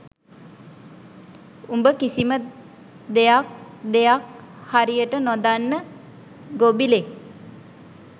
උඹ කිසිම දෙයක් දෙයක් හරියට නොදන්න ගොබිලෙක්